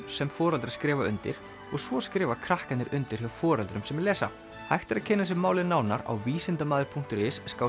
sem foreldrar skrifa undir og svo skrifa krakkarnir undir hjá foreldrum sem lesa hægt er að kynna sér málið nánar á visindamadur punktur is